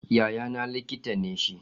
Yayana likita ne shi.